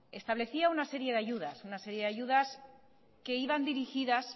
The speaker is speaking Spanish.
establecía una serie de ayudas que iban dirigidas